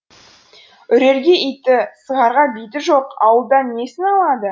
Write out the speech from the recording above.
үрерге иті сығарға биті жоқ ауылдан несін алады